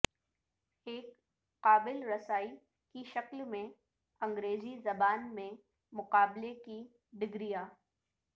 ایک قابل رسائی کی شکل میں انگریزی زبان میں مقابلے کی ڈگریاں